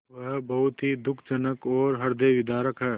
वह बहुत ही दुःखजनक और हृदयविदारक है